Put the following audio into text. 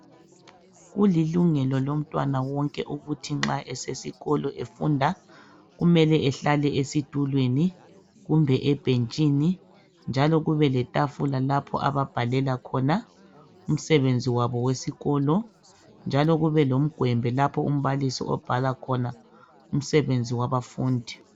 Kulilungelo lomntwana wonke ukuthi nxa esesikolo efunda kumele ehlale ezitulweni kumbe ebhentshini njalo kube letafula lapho ababhalela khona umsebenzi wabo wesikolo njalo kube lomgwembe lapho imbalisi obhala khona umsebenzi wabafundi.